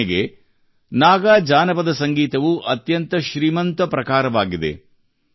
ಉದಾಹರಣೆಗೆ ನಾಗಾ ಜಾನಪದ ಸಂಗೀತವು ಅತ್ಯಂತ ಶ್ರೀಮಂತ ಪ್ರಕಾರವಾಗಿದೆ